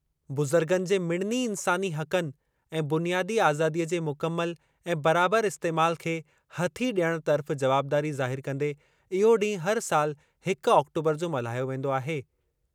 बुज़ुर्गनि जे मिड़नी इंसानी हक़नि ऐं बुनियादी आज़ादीअ जे मुकमल ऐं बराबर इस्तेमाल खे हथी डि॒यणु तर्फ़ जवाबदारी ज़ाहिरु कंदे इहो ॾींहुं हर साल हिक ऑक्टूबरु जो मल्हायो वेंदो आहे।